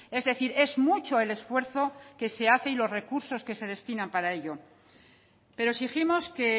es decir es mucho el esfuerzo que se hace y los recursos que se destinan para ello pero exigimos que